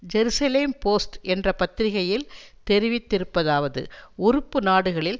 Jerusalem Post என்ற பத்திரிகையில் தெரிவித்திருப்பதாவது உறுப்பு நாடுகளில்